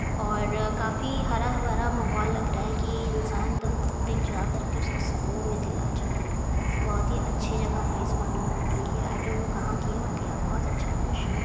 '' और काफी हरा भरा माहौल लग रहा है कि इंसान दम दिल जा करके उसको सुकून में दिल आ जाए बहुत ही अच्छी जगह प्लेस मालूम होती है आई डोंट नो कहां की है बट या बहुत अच्छा लोकेशन है। ''